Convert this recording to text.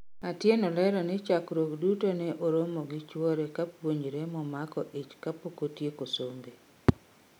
Atieno lero ni chakruok duto ne oromo gi chuore kopuonjre momako ich kapokotieko sombe